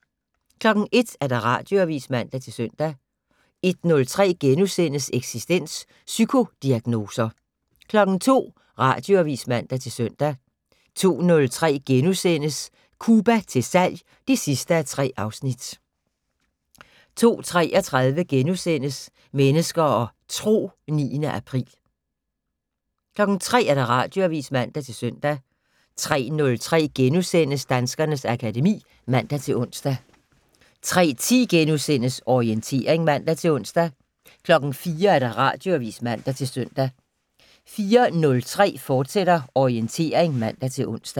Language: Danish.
01:00: Radioavis (man-søn) 01:03: Eksistens: Psykodiagnoser * 02:00: Radioavis (man-søn) 02:03: Cuba til salg (3:3)* 02:33: Mennesker og Tro: 9. april * 03:00: Radioavis (man-søn) 03:03: Danskernes akademi *(man-ons) 03:10: Orientering *(man-ons) 04:00: Radioavis (man-søn) 04:03: Orientering, fortsat (man-ons)